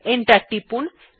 enter টিপুন